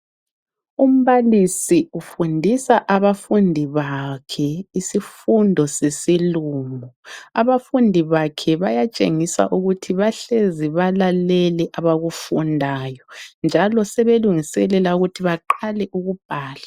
Umbalisi ufundisa abafundi bakhe isifundo sesiLungu. Abafundi bakhe bayatshengisa ukuthi bahlezi balalele abakufundayo, njalo sebelungiselela ukuthi baqale ukubhala.